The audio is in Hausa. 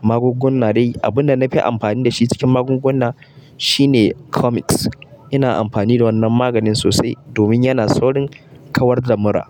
Magunguna dai abunda nafi amfani dashi cikin magunguna shine Comix. Ina amfani da wannan maganin sosai domin yana saurin kawar da mura.